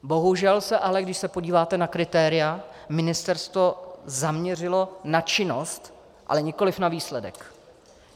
Bohužel se ale, když se podíváte na kritéria, ministerstvo zaměřilo na činnost, ale nikoliv na výsledek.